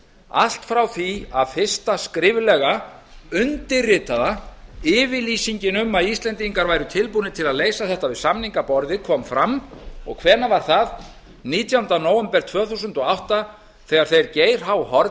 allt frá því að fyrsta skriflega undirritaða yfirlýsingin um að íslendingar væru tilbúnir til að leysa þetta við samningaborðið kom fram og hvenær var það nítjánda nóvember tvö þúsund og átta þegar þeir geir h